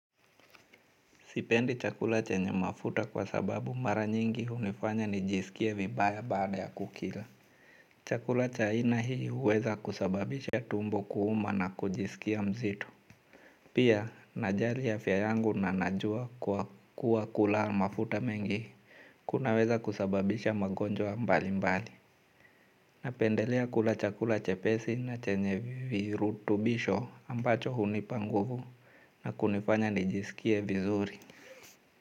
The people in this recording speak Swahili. Sipendi chakula chenye mafuta kwa sababu mara nyingi hunifanya nijisikie vibaya baada ya kukila. Chakula cha aina hii huweza kusababisha tumbo kuuma na kujisikia mzito. Pia najali afya yangu nanajua kuwa kula mafuta mengi kunaweza kusababisha magonjwa mbali mbali. Napendelea kula chakula chepesi na chenye virutubisho ambacho hunipanguvu na kunifanya nijisikia vizuri.